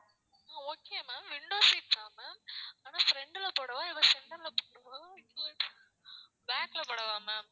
ஆஹ் okay ma'am window seat தான் ma'am ஆனா front ல போடவா இல்ல center ல போடவா இல்ல back ல போடவா ma'am